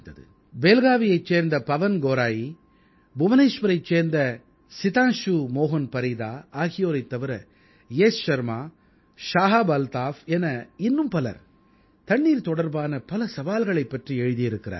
பேல்காவீயைச் சேர்ந்த பவன் கௌராயீ புவனேஸ்வரைச் சேர்ந்த சிதாம்சு மோஹன் பரீதா ஆகியோரைத் தவிர யஷ் ஷர்மா ஷாஹாப் அல்தாஃப் என இன்னும் பலர் தண்ணீர் தொடர்பான பல சவால்களைப் பற்றி எழுதியிருக்கிறார்கள்